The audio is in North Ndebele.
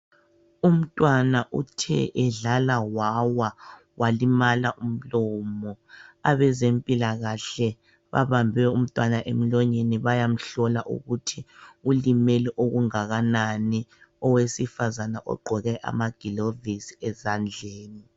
Umntwana uthe edlala wawa walimala umlomo. Abezempilakahle babambe umtwana emlonyeni bayamhlola ukuthi ulimele okungakanani. Owesifazana ogqoke amagilovisi esandleni.